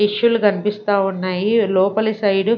Tissue లు కనిపిస్తా ఉన్నాయి లోపలి సైడ్ .